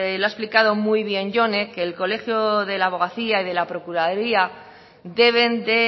lo ha explicado muy bien jone que el colegio de la abogacía y de la procuraduría deben de